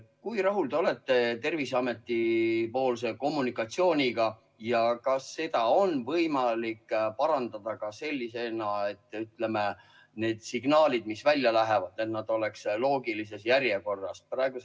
Kui rahul te olete Terviseameti kommunikatsiooniga ja kas seda on võimalik parandada selliselt, et need signaalid, mis välja lähevad, oleksid loogilises järjekorras?